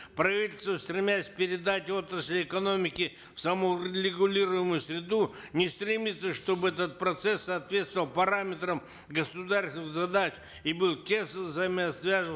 правительство стремясь передать отрасли экономики в саморегулируемую среду не стремится чтобы этот процесс соответствовал параметрам государственных задач и был тесно взаимосвязан